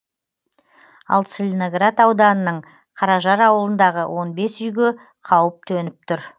ал целиноград ауданының қаражар ауылындағы он бес үйге қауіп төніп тұр